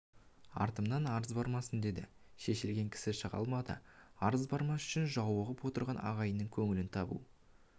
артымнан арыз бармасын деді шешілген кісі шыға алмады арыз бармас үшін жауығып отырған ағайынның көңілін табу